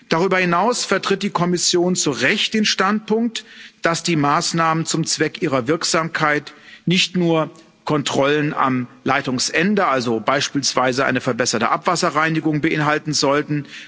Darüber hinaus vertritt die Kommission zu Recht den Standpunkt, dass die Maßnahmen zum Zweck ihrer Wirksamkeit nicht nur Kontrollen am Leitungsende, also beispielsweise eine verbesserte Abwasserreinigung, beinhalten sollten.